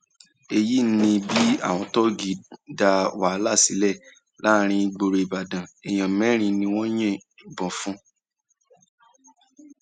èyí ni bí àwọn tọ́ọ̀gì dá wàhálà sílẹ láàrin ìgboro ìbàdàn èèyàn mẹrin ni wọn yìnbọn fún